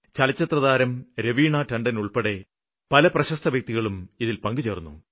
ചലച്ചിത്രതാരം രവീണ ടണ്ടന് ഉള്പ്പെടെ പല പ്രശസ്ത വ്യക്തികളും ഇതില് പങ്കുചേര്ന്നു